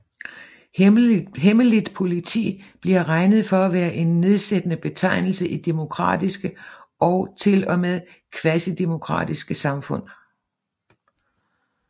Hemmeligt politi bliver regnet for at være en nedsættende betegnelse i demokratiske og til og med i Kvasidemokratiske samfund